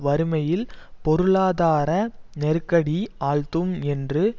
வறுமையில் பொருளாதார நெருக்கடி ஆழ்த்தும் என்று